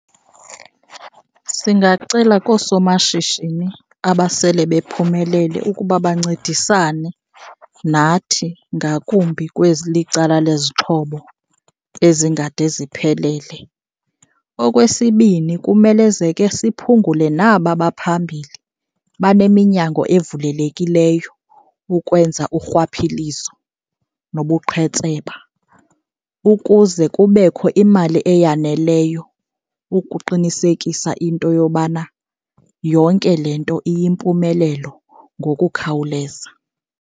Singacela koosomashishini abasele bephumelele ukuba bancedisane nathi, ngakumbi kwezilicala lwezixhobo ezingade ziphelele. Okwesibini, kumelezeke siphungule naba baphambili baneminyango evulelekileyo ukwenza urhwaphilizo nobuqhetseba, ukuze kubekho imali eyaneleyo ukuqinisekisa into yobana yonke le nto iyimpumelelo ngokukhawuleza.